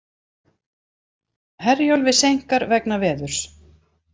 Herjólfi seinkar vegna veðurs